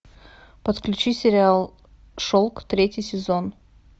подключи сериал шелк третий сезон